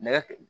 Nɛgɛ